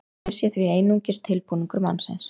guð sé því einungis tilbúningur mannsins